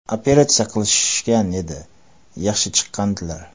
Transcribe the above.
Operatsiya qilishgan edi, yaxshi chiqqandilar.